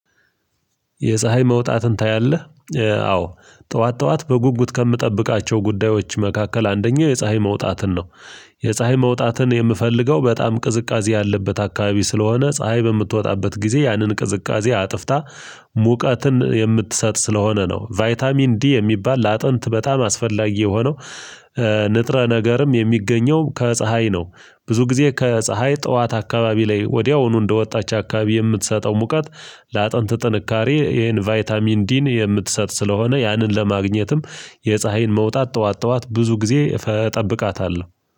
የፀሀይ መውጣትን ታያለህ? አዎ ጠዋት ጠዋት በጉጉት ከምጠብቃቸው ጉዳዮች መካከል አንደኛው የፀሀይ መውጣትን ነው የፀሀይ መውጣትን የምፈልገው በጣም ቅዝቃዜ ያለበት አካባቢ ስለሆነ ፀሀይ በምትወጣበት ጊዜ ያንን ቅዝቃዜ አጥፍታ ሙቀትን የምትሰጥ ስለሆነ ነው ቫይታሚን ዲ የሚባል ለአጥንት በጣም አስፈላጊ የሆነው ንጥረ ነገርም የሚገኘው ከፀሀይ ነው ብዙ ጊዜ ከፀሀይ ጠዋት አካባቢ ላይ ወዲያውኑ እንደወጣች አካባቢ የምትሰጠው ሙቀት ለአጥንት ጥንካሬ ይሄን ቫይታሚን ዲን የምትሰጥ ስለሆነ ያንን ለማግኘትም የፀሀይን መውጣት ጠዋት ጠዋት ብዙ ጊዜ እጠብቃታለሁ፤